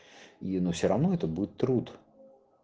ну все равно это будет труд